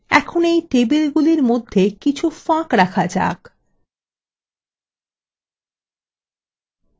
এখানে এই টেবিলগুলির মধ্যে কিছু ফাঁক রাখা যাক